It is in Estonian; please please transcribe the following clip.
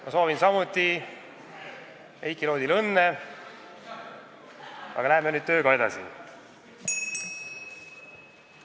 Ma soovin samuti Heiki Loodile õnne, aga läheme nüüd tööga edasi!